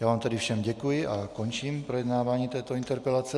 Já vám tedy všem děkuji a končím projednávání této interpelace.